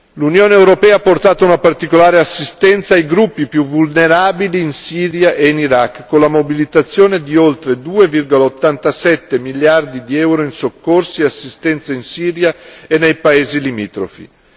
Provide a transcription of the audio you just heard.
L'Unione europea ha portato una particolare assistenza ai gruppi più vulnerabili in Siria e in Iraq, con la mobilitazione di oltre 2,87 miliardi di euro in soccorsi e assistenza in Siria e nei paesi limitrofi.